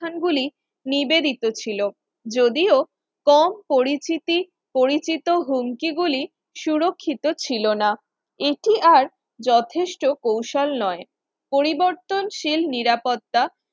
প্রতিষ্ঠানগুলি নিবেদিত ছিল যদিও কম পরিস্থিতি পরিচিত হুমকি গুলি সুরক্ষিত ছিল না এটি আর যথেষ্ট কৌশল নয় পরিবর্তনশীল নিরাপত্তা